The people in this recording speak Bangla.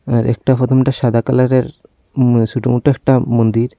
আর একটা প্রথমটা সাদা কালারের উম ছোটো মোটো একটা মন্দির।